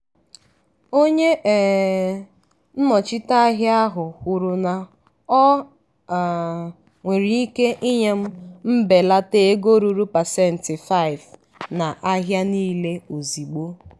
onye um nnọchite ahịa ahụ kwuru na o um nwere ike inye m mbelata ego ruru pasentị 5 na ahịa niile ozigbo.